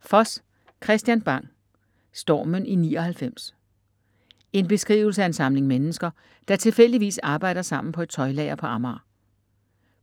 Foss, Kristian Bang: Stormen i 99 En beskrivelse af en samling mennesker, der tilfældigvis arbejder sammen på et tøjlager på Amager.